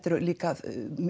eru líka